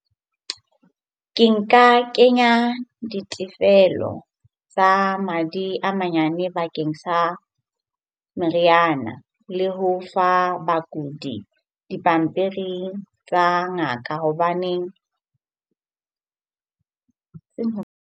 Ke nka kenya ditefelo tsa madi a manyane bakeng sa meriana. Le ho fa bakudi dipampiring tsa ngaka hobaneng .